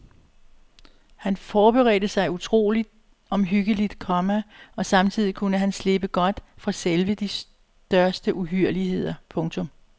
Han forberedte sig utrolig omhyggeligt, komma og samtidig kunne han slippe godt fra selv de største uhyrligheder. punktum